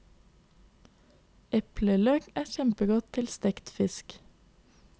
Epleløk er kjempegodt til stekt fisk.